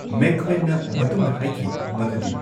ꯃꯦꯛꯏꯋꯦꯟꯅ ꯃꯇꯨꯡꯗ ꯍꯥꯢꯈꯤ ꯃꯗꯨꯗꯤ